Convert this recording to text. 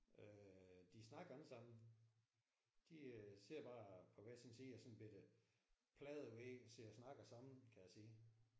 Øh de snakker ikke sammen. De sidder bare på hver sin side af sådan en bette pladevæg og sidder og snakker sammen kan jeg se